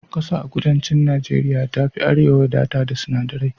Ƙasa a kudancin Najeriya ta fi na arewa wadata da sinadirai